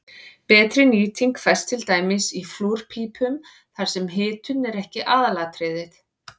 betri nýting fæst til dæmis í flúrpípum þar sem hitun er ekki aðalatriðið